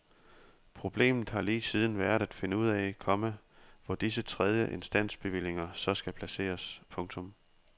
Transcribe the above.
Problemet har lige siden været at finde ud af, komma hvor disse tredje instans bevillinger så skal placeres. punktum